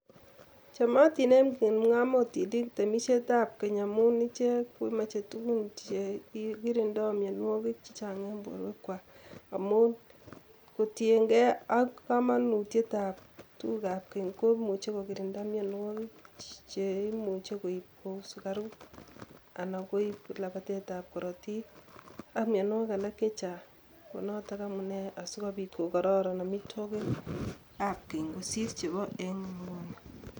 Chamotin eng kipng'omoinik temisietab keny amun ichek komeche tukun che kirindo mionwokik che chang eng borwekwak amun itienge ak kamanutietab tugukab keny komuchi kokirinda mionwokik che imuche koib kou sukaruk anan koib labatetab korotik ak mionwokik alak che chang ko notok amune asikobit ko kororon amitwogikab keny kosir chebo